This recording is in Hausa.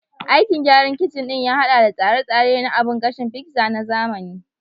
Aikin gyaran kicin ɗin ya haɗa da tsare-tsare na abun gashin pizza na zamani